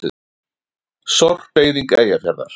Sorpeyðing Eyjafjarðar.